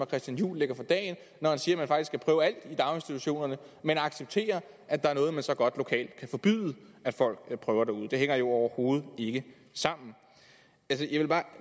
christian juhl lægger for dagen når han siger at man faktisk skal prøve alt i daginstitutionerne men accepterer at der er noget man så godt lokalt kan forbyde at folk prøver derude det hænger jo overhovedet ikke sammen